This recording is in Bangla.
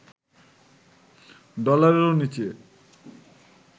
ডলারেরও নিচে